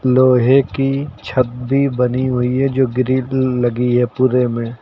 लोहे की छत भी बनी हुई है जो ग्रिल लगी है पूरे में।